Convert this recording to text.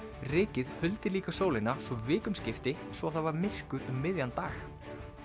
rykið huldi líka sólina svo vikum skipti svo það var myrkur um miðjan dag